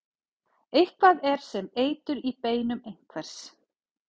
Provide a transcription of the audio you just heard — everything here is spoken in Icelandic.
Eitthvað er sem eitur í beinum einhvers